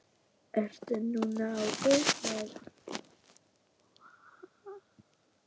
Ert nú á guðs vegum.